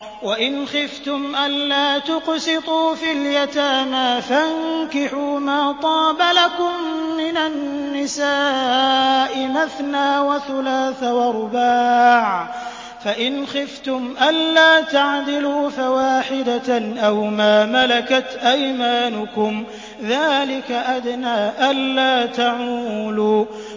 وَإِنْ خِفْتُمْ أَلَّا تُقْسِطُوا فِي الْيَتَامَىٰ فَانكِحُوا مَا طَابَ لَكُم مِّنَ النِّسَاءِ مَثْنَىٰ وَثُلَاثَ وَرُبَاعَ ۖ فَإِنْ خِفْتُمْ أَلَّا تَعْدِلُوا فَوَاحِدَةً أَوْ مَا مَلَكَتْ أَيْمَانُكُمْ ۚ ذَٰلِكَ أَدْنَىٰ أَلَّا تَعُولُوا